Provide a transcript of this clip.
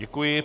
Děkuji.